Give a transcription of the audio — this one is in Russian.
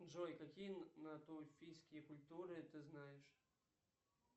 джой какие натуфийские культуры ты знаешь